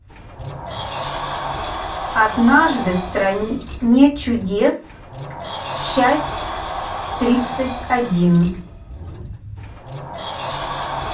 однажды в стране чудес часть тридцать один